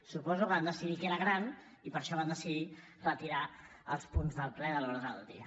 suposo que van decidir que era gran i per això van decidir retirar els punts del ple de l’ordre del dia